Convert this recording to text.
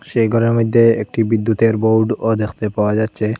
সেই ঘরের মইধ্যে একটি বিদ্যুতের বোর্ডও দেখতে পাওয়া যাচ্ছে।